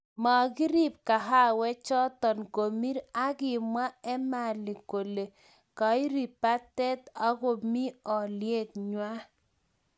Mokirib kahawechoto komir akimwa Emali kole Kairi batet akomi olyet ngweny